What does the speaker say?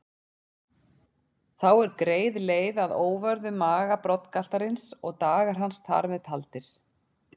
Þá er greið leið að óvörðum maga broddgaltarins og dagar hans þar með taldir.